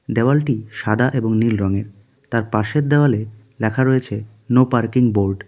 দেওয়ালটি সাদা এবং নীল রঙের তার পাশের দেওয়ালে লেখা রয়েছে নো পার্কিং বোর্ড .